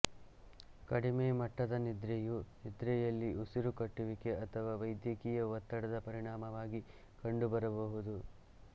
ಕಡಿಮೆ ಮಟ್ಟದ ನಿದ್ರೆಯು ನಿದ್ರೆಯಲ್ಲಿ ಉಸಿರುಕಟ್ಟುವಿಕೆ ಅಥವಾ ವೈದ್ಯಕೀಯ ಒತ್ತಡದ ಪರಿಣಾಮವಾಗಿ ಕಂಡುಬರಬಹುದು